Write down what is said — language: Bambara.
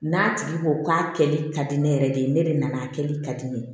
N'a tigi ko k'a kɛli ka di ne yɛrɛ de ye ne de nana a kɛli ka di ne ye